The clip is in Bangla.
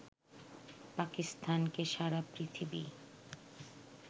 পাকিস্তানকে সারা পৃথিবী